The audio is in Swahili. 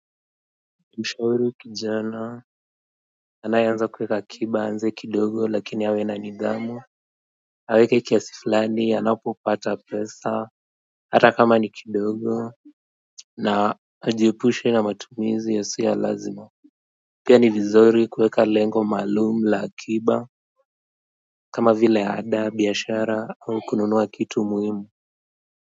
Mshaui kijana anayeanza kuweka akiba aanze kidogo lakini awe na nidhamu. Aweke kiasi fulani anapopata pesa ata kama ni kidogo na ajiepushe na matumizi yasia ya lazima pia ni vizuri kuweka lengo malumu la akiba kama vile ada biashara au kununua kitu muhimu.